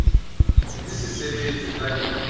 di se sebetswe ka le